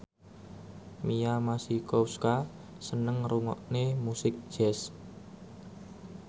Mia Masikowska seneng ngrungokne musik jazz